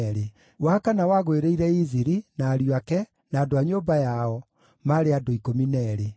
wa kana wagũĩrĩire Iziri, na ariũ ake, na andũ a nyũmba yao, maarĩ andũ 12;